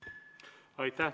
Aitäh!